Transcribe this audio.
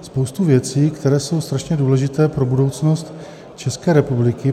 spoustu věcí, které jsou strašně důležité pro budoucnost České republiky.